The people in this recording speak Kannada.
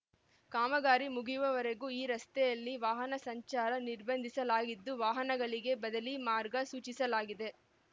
ಕಾಮಗಾರಿ ಮುಗಿಯುವವರೆಗೂ ಈ ರಸ್ತೆಯಲ್ಲಿ ವಾಹನ ಸಂಚಾರ ನಿರ್ಬಂಧಿಸಲಾಗಿದ್ದು ವಾಹನಗಳಿಗೆ ಬದಲೀ ಮಾರ್ಗ ಸೂಚಿಸಲಾಗಿದೆ